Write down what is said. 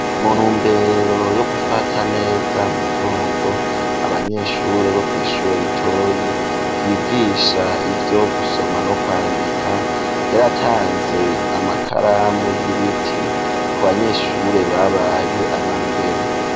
Mu ntumbero yo gufata neza umugongo ,abanyeshure bo kw'ishure litoyi ,vyigisha ivyo gusoma no kwandika ,Vyaratanze amakaramu y'ibiti, ku banyeshure babaye aba mbere.